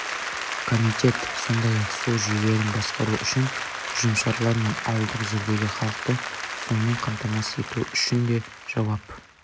комитет сондай-ақ су жүйелерін басқару үшін ұжымшарлар мен ауылдық жердегі халықты сумен қамтамасыз ету үшін де жауап